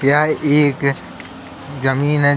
यह एक जमीन है।